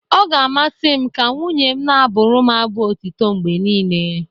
Ọ ga-amasị m ka nwunye m na-abụrụ m abụ otito mgbe niile.